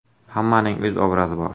Hammaning o‘z obrazi bor.